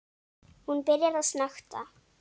Hún byrjar að snökta.